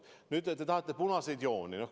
Nüüd, te tahate punaseid jooni.